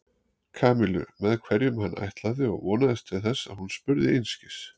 Kamillu með hverjum hann ætlaði og vonaðist til þess að hún spurði einskis.